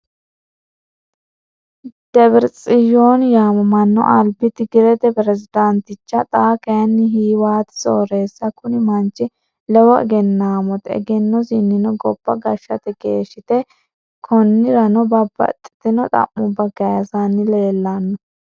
Debiretsiyooni yaamamanno, aliba tigirete perezidanticha, xaa kayini hiwaati soorreessa kuni manchi lowo eggennaamoti eggennosinno goba gashate geshite, koniranno babaxino xa'muba kayisanni leelano